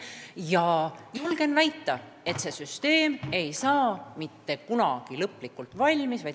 Ma julgen väita, et see süsteem ei saa mitte kunagi lõplikult valmis.